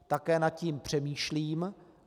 Také nad tím přemýšlím.